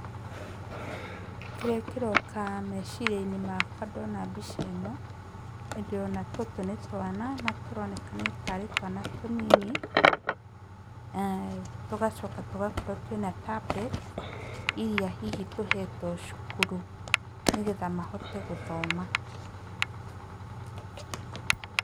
Kĩrĩa kĩroka meciria-inĩ makwa ndona mbica ĩno, nĩ ndĩrona tũtũ nĩ twana na tũronekana tarĩ twana tũnini tũgacoka tũgakorwo twĩna tablet iria hihi tũhetwo cukuru nĩgetha mahote gũthoma .